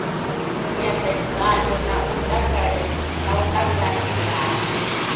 nyambedzano na u ṱhanganelano na